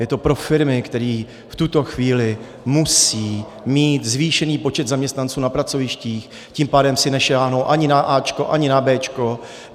Je to pro firmy, které v tuto chvíli musí mít zvýšený počet zaměstnanců na pracovištích, tím pádem si nesáhnou ani na áčko, ani na béčko.